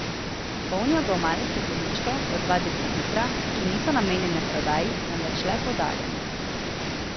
Polnijo ga v male stekleničke po dva decilitra, ki niso namenjene prodaji, temveč le podarjanju.